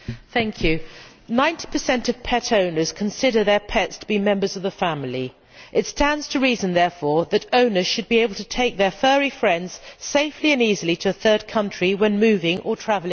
Mr President, 90 of pet owners consider their pets to be members of the family. It stands to reason, therefore, that owners should be able to take their furry friends safely and easily to a third country when moving or travelling abroad.